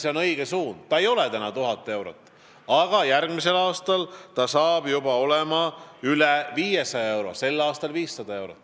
Miinimumpalk ei ole praegu 1000 eurot, aga sel aastal on see 500 eurot ja järgmisel aastal juba üle 500 euro.